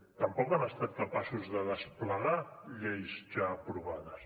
tampoc han estat capaços de desplegar lleis ja aprovades